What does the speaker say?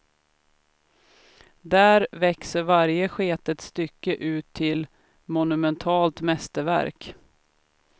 Där växer varje sketet stycke ut till monumentalt mästerverk.